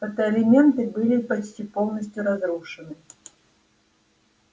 фотоэлементы были почти полностью разрушены